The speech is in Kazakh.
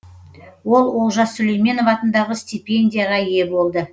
ол олжас сүлейменов атындағы стипендияға ие болды